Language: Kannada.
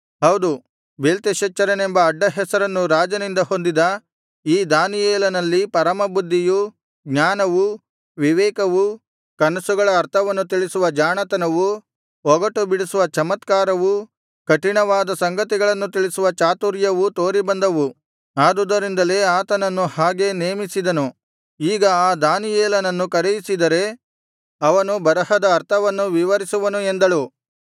ಹೌದು ಬೇಲ್ತೆಶಚ್ಚರನೆಂಬ ಅಡ್ಡ ಹೆಸರನ್ನು ರಾಜನಿಂದ ಹೊಂದಿದ ಈ ದಾನಿಯೇಲನಲ್ಲಿ ಪರಮಬುದ್ಧಿಯೂ ಜ್ಞಾನವೂ ವಿವೇಕವೂ ಕನಸುಗಳ ಅರ್ಥವನ್ನು ತಿಳಿಸುವ ಜಾಣತನವೂ ಒಗಟುಬಿಡಿಸುವ ಚಮತ್ಕಾರವೂ ಕಠಿಣವಾದ ಸಂಗತಿಗಳನ್ನು ತಿಳಿಸುವ ಚಾತುರ್ಯವೂ ತೋರಿಬಂದವು ಆದುದರಿಂದಲೇ ಆತನನ್ನು ಹಾಗೆ ನೇಮಿಸಿದನು ಈಗ ಆ ದಾನಿಯೇಲನನ್ನು ಕರೆಯಿಸಿದರೆ ಅವನು ಬರಹದ ಅರ್ಥವನ್ನು ವಿವರಿಸುವನು ಎಂದಳು